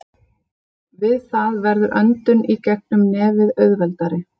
Við það verður öndun í gegnum nefið auðveldari.